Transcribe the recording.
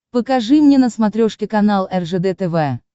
покажи мне на смотрешке канал ржд тв